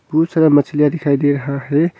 बहुत सारा मछलियां दिखाई दे रहा है।